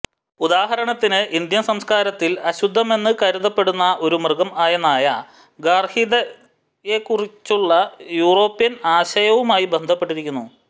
ഉദാഹരണത്തിന് ഇന്ത്യൻ സംസ്കാരത്തിൽ അശുദ്ധമെന്ന് കരുതപ്പെടുന്ന ഒരു മൃഗം ആയ നായ ഗാർഹികതയെക്കുറിച്ചുള്ള യൂറോപ്യൻ ആശയവുമായി ബന്ധപ്പെട്ടിരിക്കുന്നു